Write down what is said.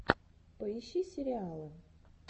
поищи сериалы